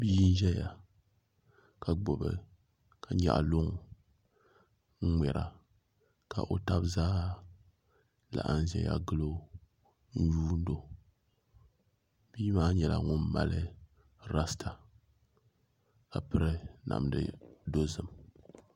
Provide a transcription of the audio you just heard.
Bia n ʒɛya ka nyaɣa luŋ n ŋmɛra ka o tabi zaa laɣam ʒɛya gilo n yuundo bia maa nyɛla ŋun mali rasta ka piri namdi dozim